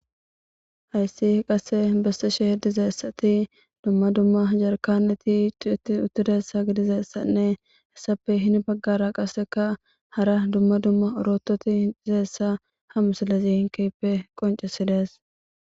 Hayssi qassi besseshe he diza asati dumma dumma jarkaneti tuceti uttidassa gidizassanne hessappe hini baggara qassika hara dumma dumma orototi diza issa ha misillezi keehippe qonccisi dees.